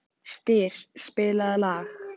Styr, spilaðu lag.